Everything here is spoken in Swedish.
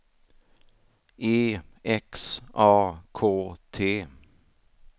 E X A K T